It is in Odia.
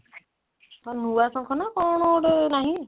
ହଁ ନୂଆ ଶଙ୍ଖ ନା କଣ ଗୋଟେ ନାହିଁ